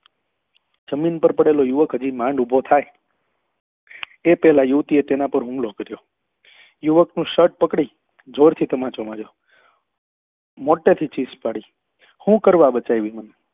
જમીન પર પડેલો યુવક માંડ ઉભો થાય એ પેલા યુવતી એ તેના પર હુમલો કર્યો યુવક નું શર્ટ પકડી જોર થી તમાચો માયો મોટે થી ચીસ પાડી હું કરવા બચાઈ મન